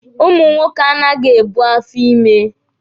Ụmụ nwoke anaghị ebu afọ ímē.